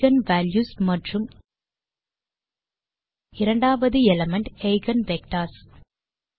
eigen values மற்றும் இரண்டாவது element eigen vectors